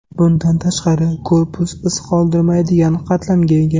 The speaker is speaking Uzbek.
Bundan tashqari, korpus iz qoldirmaydigan qatlamga ega.